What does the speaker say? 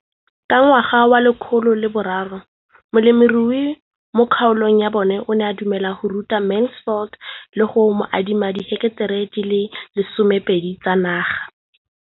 Ka ngwaga wa 2013, molemirui mo kgaolong ya bona o ne a dumela go ruta Mansfield le go mo adima di heketara di le 12 tsa naga.